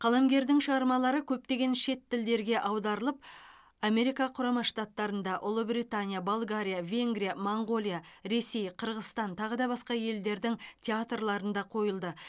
қаламгердің шығармалары көптеген шет тілдерге аударылып америка құрама штаттарында ұлыбритания болгария венгрия моңғолия ресей қырғызстан тағы басқа елдердің театрларында қойылды